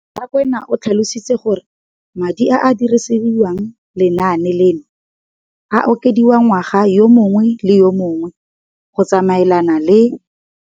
Rakwena o tlhalositse gore madi a a dirisediwang lenaane leno a okediwa ngwaga yo mongwe le yo mongwe go tsamaelana le